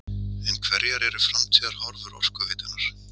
En hverjar eru framtíðarhorfur Orkuveitunnar?